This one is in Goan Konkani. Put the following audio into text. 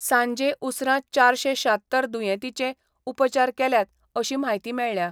सांजे उसरां चारशे शात्तर दुयेंतींचे उपचार केल्यात अशी म्हायती मेळ्ळ्या.